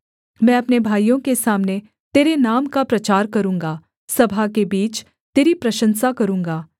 मैं अपने भाइयों के सामने तेरे नाम का प्रचार करूँगा सभा के बीच तेरी प्रशंसा करूँगा